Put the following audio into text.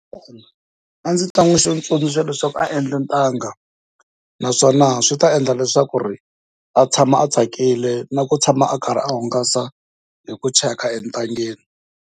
A ndzi ta n'wi tsundzuxa leswaku a endla ntanga naswona swi ta endla leswaku a tshama a tsakile na ku tshama a karhi a hungasa hi ku cheka entangeni.